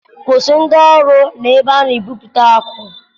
Kwụsị ndị ọrụ na ebe a na-egwupụta akụ